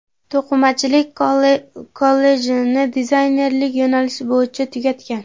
To‘qimachilik kollejini dizaynerlik yo‘nalishi bo‘yicha tugatgan.